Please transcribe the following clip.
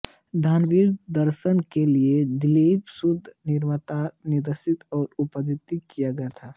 धारावाहिक को दूरदर्शन के लिए दिलीप सूद द्वारा निर्मित निर्देशित और उत्पादित किया गया था